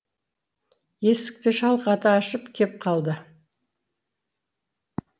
есікті шалқата ашып кеп қалды